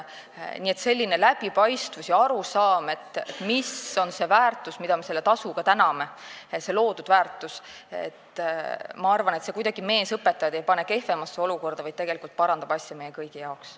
Nii et selline läbipaistvus ja arusaam, mis on see loodud väärtus, mille loomise eest me selle tasuga täname, ma arvan, ei pane meesõpetajaid kuidagi kehvemasse olukorda, vaid tegelikult parandab asja meie kõigi jaoks.